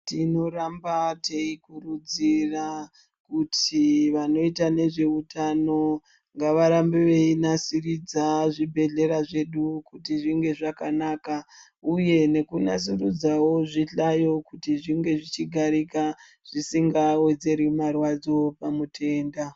Tinoramba teikurudzira kuti vanoita nezvehutano ngavarambe veinasiridza zvibhedhlera zvedu kuti zvinge zvakanaka, uye nekunasurudzavo zvihlayo kuti zvinge zvichigarika zvisingawedzeri marwadzo pamutenda.